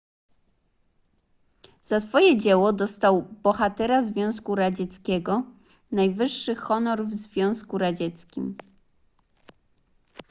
za swoje dzieło dostał bohatera związku radzieckiego najwyższy honor w związku radzieckim